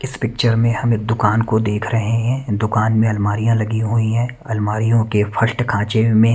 इस पिक्चर में हमे दुकान को देख रहे हैं दुकान में अलमारियाँ लगी हुई हैं अलमारियों के फर्स्ट खाचे में--